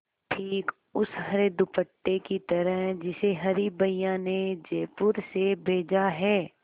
ठीक उस हरे दुपट्टे की तरह जिसे हरी भैया ने जयपुर से भेजा है